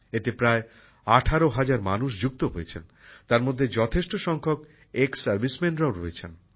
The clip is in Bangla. এতে প্রায় ১৮ হাজার মানুষ যুক্ত হয়েছেন যার মধ্যে যথেষ্ট সংখ্যক সেনাবাহিনীর প্রাক্তনীরাও রয়েছেন